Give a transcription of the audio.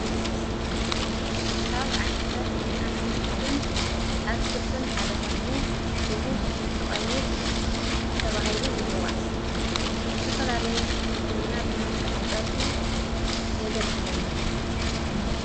ካብ ዓይነታት ኣሕምልትን ኣትክልትን ሓደ ኾይኑ ሽሙ ሽጉርቲ ቐይሕ ተብሂሉ ይጽዋዕ ንስተፈላለየ ምግብና ብመልካዕት ጸውሒ የገልግልና።